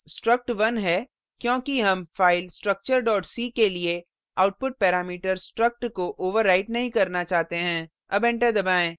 यहाँ हमारे पास struct1 है क्योंकि हम file structure c के लिए output पैरामीटर struct को overwrite नहीं करना चाहते हैं